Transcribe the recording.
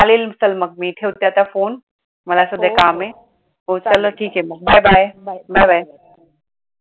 चालेल चाल मग मी ठेवते आता phone मला सध्या काम आहे